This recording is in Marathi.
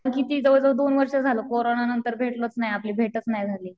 किती जवळ जवळ दोन वर्ष झालं कोरोना नंतर भेटलोच नाही आपली भेटच नाही झाली.